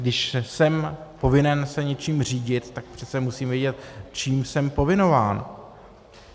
Když jsem povinen se něčím řídit, tak přece musím vědět, čím jsem povinován.